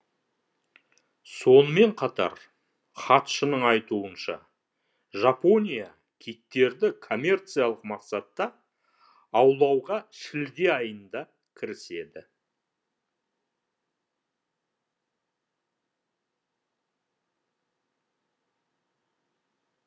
сонымен қатар хатшының айтуынша жапония киттерді коммерциялық мақсатта аулауға шілде айында кіріседі